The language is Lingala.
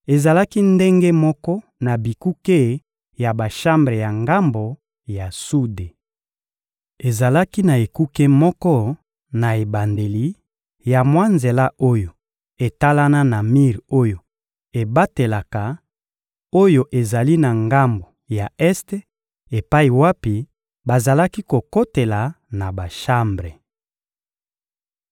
ezalaki ndenge moko na bikuke ya bashambre ya ngambo ya sude. Ezalaki na ekuke moko na ebandeli ya mwa nzela oyo etalana na mir oyo ebatelaka, oyo ezali na ngambo ya este epai wapi bazalaki kokotela na bashambre.